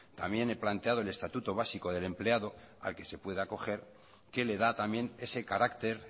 también he planteado el estatuto básico del empleado al que se puede acoger que le da también ese carácter